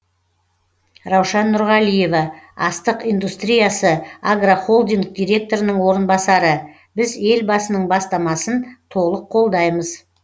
раушан нұрғалиева астық индустриясы агрохолдинг директорының орынбасары біз елбасының бастамасын толық қолдаймыз